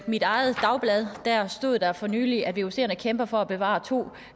mit eget dagblad stod der for nylig at vucerne kæmper for at bevare to